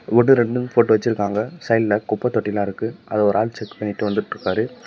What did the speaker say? ஒன்னு ரெண்டுன்னு போட்டு வச்சுருக்காங்க சைடுல குப்ப தொட்டிலா இருக்கு அத ஒரு ஆள் செக் பண்ணிட்டு வந்துட்டுருக்காரு.